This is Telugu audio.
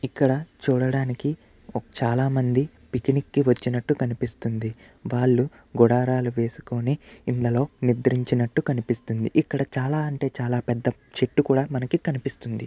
ఇక్కడ చూడడానికి చాలామంది పిక్నిక్ కి వచ్చినట్టు కనిపిస్తుంది. వాళ్లు గుడారాలు వేసుకొని ఇండ్లలో నిద్రించినట్టు కనిపిస్తుంది ఇక్కడ చాలా అంటే చాలా పెద్ద చెట్టు కూడా మనకి కనిపిస్తుంది.